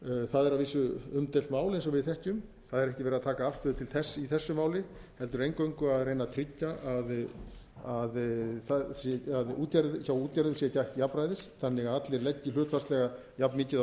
það er að vísu umdeilt mál eins og við þekkjum það er ekki verið að taka afstöðu til þess í þessu máli heldur eingöngu að reyna að tryggja að hjá útgerðum sé gætt jafnræðis þannig að allir leggi hlutfallslega jafn mikið af